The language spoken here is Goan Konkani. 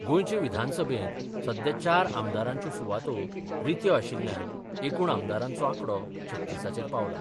गोंयचे विधानसभेत सध्या चार आमदारांच्यो सुवातो रित्यो आशिल्ल्यान एकूण आमदारांचो आंकडो छत्तीसाचेर पावला.